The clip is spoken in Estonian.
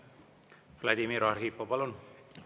Vladimir Arhipov, palun!